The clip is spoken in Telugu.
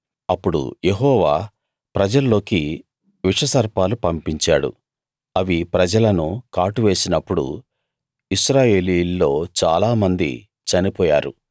అప్పుడు యెహోవా ప్రజల్లోకి విషసర్పాలు పంపించాడు అవి ప్రజలను కాటువేసినప్పుడు ఇశ్రాయేలీయుల్లో చాలామంది చనిపోయారు